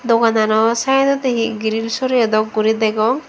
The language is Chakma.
dogan ano side odi he grill soreyi dok guri degong.